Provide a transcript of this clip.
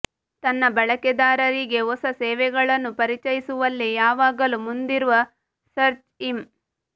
ತನ್ನ ಬಳಕೆದಾರರಿಗೆ ಹೊಸ ಸೇವೆಗಳನ್ನು ಪರಿಚಯಿಸುವಲ್ಲಿ ಯಾವಾಗಲೂ ಮುಂದಿರುವ ಸರ್ಚ್ ಇಂ